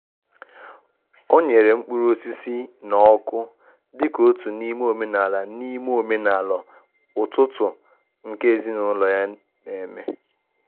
O nyere mkpụrụ osisi na ọkụ dịka otu n'ime omenala n'ime omenala ụtụtụ nke ezinụlọ ya na-eme.